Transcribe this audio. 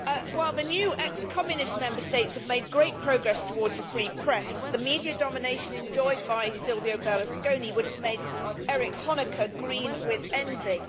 While the new ex Communist Member States have made great progress towards a free press, the media domination enjoyed by Silvio Berlusconi would have made Erich Honecker green with envy.